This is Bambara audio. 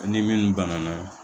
Ni minnu banana